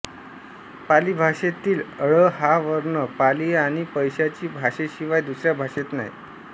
पाली भाषेतील ळ हा वर्ण पाली आणि पैशाची भाषेशिवाय दुसऱ्या भाषेत नाही